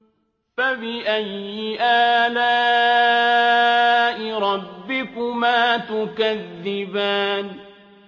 فَبِأَيِّ آلَاءِ رَبِّكُمَا تُكَذِّبَانِ